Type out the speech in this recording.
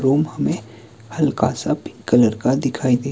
room हमें हल्का सा पिंक कलर का दिखाई दे--